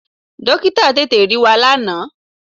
Dọ́kítà tètè rí wa lánàá.